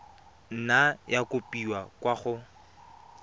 nna ya kopiwa kwa go